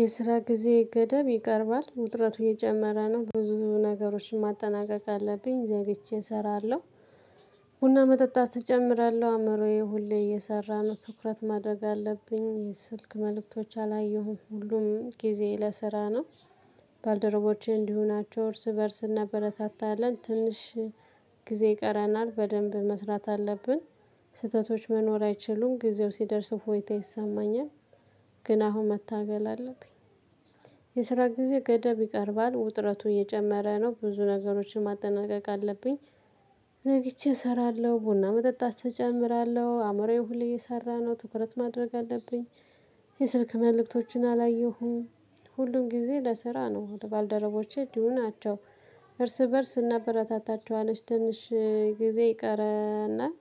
የስራ ጊዜ ገደብ ይቀርባል ውጥረቱ የጨመረ ነው ብዙ ነገሮችን ማጠናቀቅ አለብኝ ዘግቼ እሰራለሁ። ቡና መጠጣት እጨምራለሁ አእምሮዬ ሁሌ እየሰራ ነው ትኩረት ማድረግ አለብኝ የስልክ መልእክቶች አላየሁም ሁሉም ጊዜ ለስራ ነው። ባልደረቦቼ እንዲሁ ናቸው እርስ በእርስ እናበረታታለን ትንሽ ጊዜ ቀረናል በደንብ መስራት አለብን። ስህተቶች መኖር አይችሉም ጊዜው ሲደርስ እፎይታ ይሰማኛል። ግን አሁን መታገል አለብኝ። የስራ ጊዜ ገደብ ይቀርባል ውጥረቱ እየጨመረ ነው ብዙ ነገሮችን ማጠናቀቅ አለብኝ። ዘግቼ እሰራለሁ ቡና መጠጣት እጨምራለሁ አእምሮዬን ሁሌ እየሰራ ነው ትኩረት ማድረግ አለብኝ። የስልክ መልእክቶችን አላየሁም። ሁሉም ጊዜ ለስራ ነው ባልደረቦቼ እንዲሁ ናቸው። እርስ በእርስ እናበረታታቿኋነች ትንሽ ጊዜ ይቀረናል።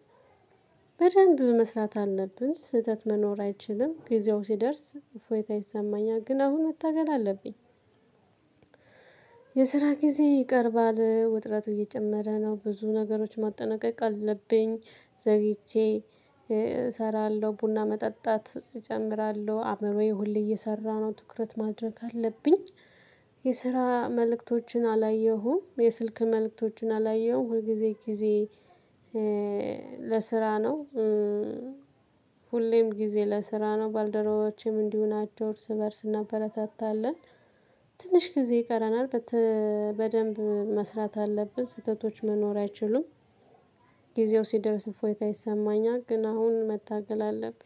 በደንብ መስራት አለብን ስህተት መኖር አይችልም ጊዜው ሲደርስ እፎይታ ይሰማኛል ግን አሁን መታገል አለብኝ። የስራ ጊዜ ይቀርባል ውጥረቱ እየጨመረ ነው ብዙ ነገሮች ማጠናቀቅ አለብኝ። ዘግቼ እሰራለሁ ቡና መጠጣት እጨምራለሁ አምሮዬ ሁሌ እየሰራ ነው ትኩረት ማድረግ አለብኝ። የስራ መልእክቶችን አላየሁም የስልክ መልእክቶቹን አላየሁም ሁልጊዜ ጊዜ ለስራ ነው። ሁሌም ጊዜ ለስራ ነው ባልደረቦቼም እንዲሁ ናቸው እርስ በእርስ እናበረታታለን። ትንሽ ጊዜ ይቀረናል። በደንብ መስራት አለብን ስህተቶች መኖር አይችሉም። ጊዜው ሲደርስ እፎይታ ይሰማኛል ግን አሁን መታገል አለብኝ።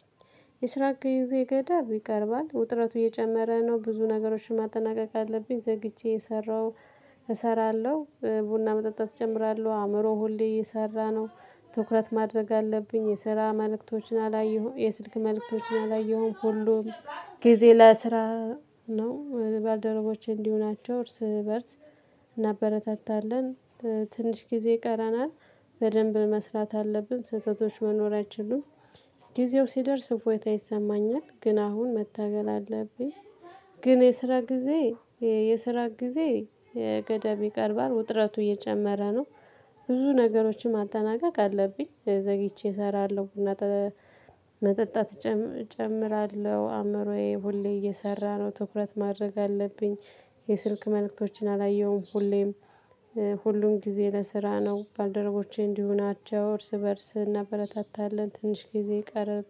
የስራ ጊዜ ገደብ ይቀርባል ውጥረቱ እየጨመረ ነው ብዙ ነገሮችን ማጠናቀቅ አለብኝ ዘግይቼ የሰራው። እሰራለሁ ቡና መጠጣት እጀምራለሁ አእምሮ ሆሌ እየሰራ ነው ትኩረት ማድረግ አለብኝ። የስራ መልእክቶችን አላየሁም የስልክ መልእክቶችን አላየሁም ሁሉም ጊዜ ለስራ ነው ባልደረቦች እንዲሁ ናቸው እርስ በእርስ እናበረታታለን። ትንሽ ጊዜ ይቀረናል። በደንብ መስራት አለብን ስህተቶች መኖር አይችሉም። ጊዜው ሲደርስ እፎይታ ይሰማኛል ግን አሁን መታገል አለብኝ። ግን የስራ ጊዜ የስራ ጊዜ የገደብ ይቀርባል ውጥረቱ እየጨመረ ነው። ብዙ ነገሮችን ማጠናቀቅ አለብኝ ዘግቼ እሰራለሁ እና ቡና መጠጣት እጨምራለሁ አእምሮዬ ሁሌ እየሰራ ነው ትኩረት ማድረግ አለብኝ። የስልክ መልእክቶችን አላየሁም ሁሌም ሁሉም ጊዜ ለስራ ነው ባልደረቦቼ እንዲሁ ናቸው እርስ በእርስ እናበረታታለን። ትንሽ ጊዜ ይቀረብ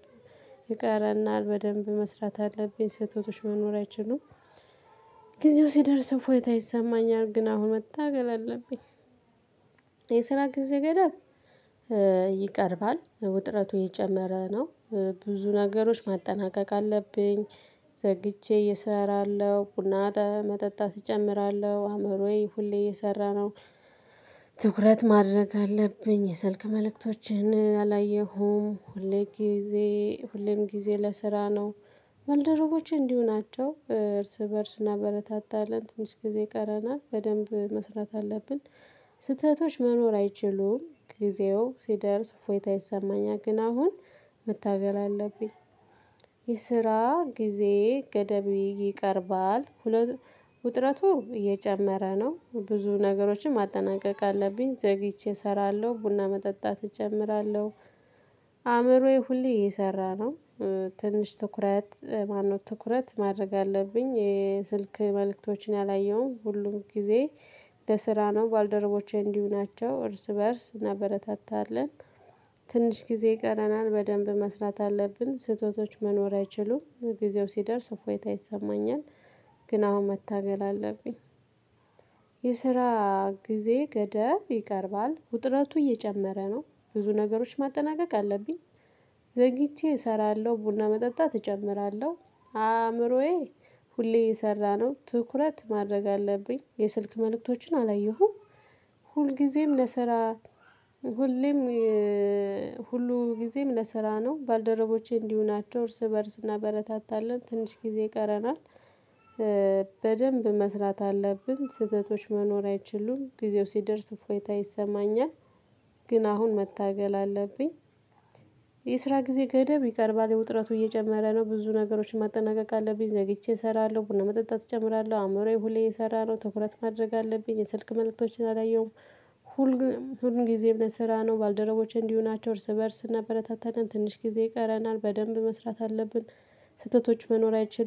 ይቀረናል። በደንብ መስራት አለብኝ ስህተቶች መኖር አይችሉም። ጊዜው ሲደርስ እፎይታ ይሰማኛል ግን አሁን መታገል አለብኝ። የስራ ጊዜ ገደብ ይቀርባል ውጥረቱ እየጨመረ ነው። ብዙ ነገሮች ማጠናቀቅ አለብኝ። ዘግቼ እሰራለሁ ቡና መጠጣት እጨምራለሁ አእምሮዬ ሁሌ እየሰራ ነው። ትኩረት ማድረግ አለብኝ የሰልክ መልእክቶችን አላየሁም ሁልጊዜ ሁሌም ጊዜ ለስራ ነው። በልደረቦቼ እንዲሁ ናቸው እርስ በእርስ እናበረታታለን ትንሽ ጊዜ ይቀረናል በደንብ መስራት አለብን። ስህተቶች መኖር አይችሉም ጊዜው ሲደርስ እፎይታ ይሰማኛል ግን አሁን መታገል አለብኝ። የስራ ጊዜ ገደብ ይቀርባል። ውጥረቱ እየጨመረ ነው ብዙ ነገሮችን ማጠናቀቅ አለብኝ ዘግቼ እሰራለሁ ቡና መጠጣት እጨምራለሁ አእምሮዬ ሁሌ እየሰራ ነው። ትንሽ ትኩረት ማነው ትኩረት ማድረግ አለብኝ የስልክ መልእክቶችን አላየሁም ሁሉም ጊዜ ለስራ ነው ባደረቦቼ እንዲሁ ናቸው እርስ በእርስ እናበረታታለን። ትንሽ ጊዜ ይቀረናል በደንብ መስራት አለብን ስህተቶች መኖር አይችሉም ጊዜው ሲደርስ እፎይታ ይሰማኛል። ግን አሁን መታገል አለብኝ። የስራ ጊዜ ገደብ ይቀርባል ውጥረቱ እየጨመረ ነው ብዙ ነገሮች ማጠናቀቅ አለብኝ። ዘግቼ እሰራለሁ ቡና መጠጣት እጨምራለሁ አእምሮዬ ሁሌ የሰራነው ትኩረት ማድረግ አለብኝ የስልክ መልእክቶችን አላየሁም። ሁልጊዜም ለስራ ሁሌም ጊዜም ለስራ ነው ባልደረቦቼ እንዲሁ ናቸው እርስ በእርስ እናበረታታለን ትንሽ ጊዜ ይቀረናል። በደንብ መስራት አለብን ስህተቶች መኖር አይችሉም ጊዜው ሲደርስ እፎይታ ይሰማኛል። ግን አሁን መታገል አለብኝ። የስራ ጊዜ ገደብ ይቀርባል የውጥረቱ እየጀመረ ነው ብዙ ነገሮችን ማጠናቀቅ አለብኝ ዘግቼ እሰራለሁ ቡና መጠጣት እጨምራለሁ አእምሮዬ ሁሌ እየሰራ ነው ትኩረት ማድረግ አለብኝ የስልክ መልእክቶችን አላየሁም። ሁል ጊዜ ለስራ ነው ባልደረቦቼ እንዲሁ ናቸው እርስ በእርስ እና እናበረታታለን ትንሽ ጊዜ ይቀረናል በደንብ መስራት አለብን ስህተቶች መኖር አይችሉም